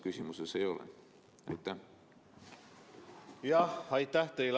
Aitäh teile!